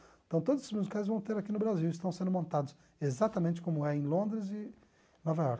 Então todos esses musicais vão ter aqui no Brasil e estão sendo montados exatamente como é em Londres e Nova York.